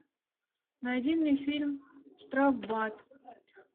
найди мне фильм штрафбат